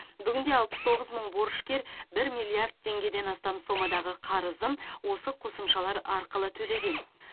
бүгінде алпыс тоғыз мың борышкер бір миллиард теңгеден астам сомадағы қарызын осы қосымшалар арқылы төлеген